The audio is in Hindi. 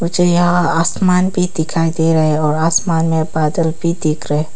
यहां आसमान भी दिखाई दे रहे है और आसमान में बादल भी दिख रहे--